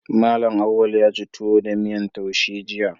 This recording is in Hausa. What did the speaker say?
Mallam Auwal yaci tuwo da miyan taushe jiya